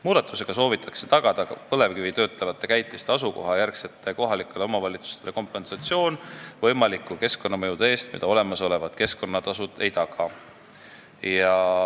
Muudatusega soovitakse tagada nendele kohalikele omavalitsustele, kus asuvad põlevkivi töötlevad käitised, kompensatsioon võimaliku keskkonnamõju eest, mida olemasolevad keskkonnatasud ei taga.